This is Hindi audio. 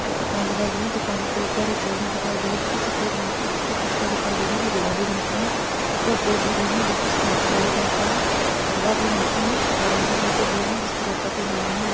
दुकान दिखाई दे रही है दुकानो के उपर एक बिल्डिंग दिखाई दे रही है जो की सफेद रंग की जिस पे खिडकीया दिखाई दे रही है वो गुलाबी रंग की है उपर बोर्ड लगे हुए जो की इस का काले रंग का है गुलाबी रंग के है नारंगी के बोर्ड है जिसपर आकृती बनी हुई --